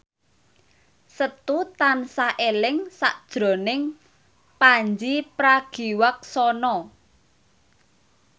Setu tansah eling sakjroning Pandji Pragiwaksono